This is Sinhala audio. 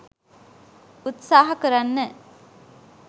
උත්සාහ කරන්න.